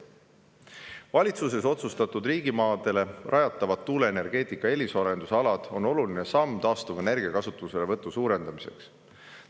Valitsuses otsustatud riigimaadele rajatavad tuuleenergeetika eelisarendusalad on oluline samm taastuvenergia kasutuselevõtu suurendamiseks.